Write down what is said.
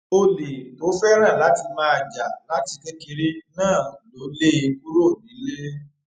olè tó fẹràn láti máa jà láti kékeré náà lọ lé e kúrò nílé